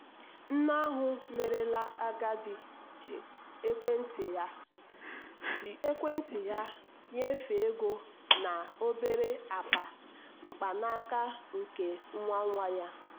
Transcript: nne ahụ merela agadi ji ekwentị ya ji ekwentị ya nyefee ego na obere akpa mkpanaka nke nwa nwa ya.